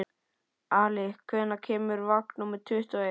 Ali, hvenær kemur vagn númer tuttugu og eitt?